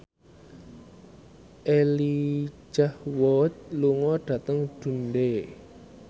Elijah Wood lunga dhateng Dundee